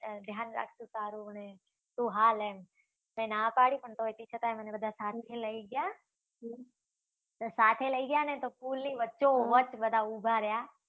ધ્યાન રાખશું તારું ને. તુ હાલ એમ. મે ના પાડી પણ તોય તેમ છતાં પણ બધા મને સાથેથી લઈ ગયા. સાથે લઈ ગયા અને પછી પુલની વચ્ચોવચ બધા ઉભા રહ્યા